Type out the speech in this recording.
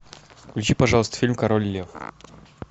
включи пожалуйста фильм король лев